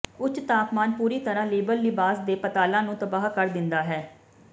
ਉੱਚ ਤਾਪਮਾਨ ਪੂਰੀ ਤਰ੍ਹਾਂ ਲੇਬਲ ਲਿਬਾਸ ਦੇ ਪਤਾਲਾਂ ਨੂੰ ਤਬਾਹ ਕਰ ਦਿੰਦਾ ਹੈ